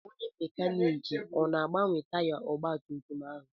Onye mekaniiki ọ na-agbanwe taya ọgbatumtum ahụ?